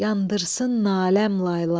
yandırsın naləm layla.